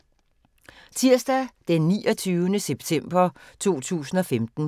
Tirsdag d. 29. september 2015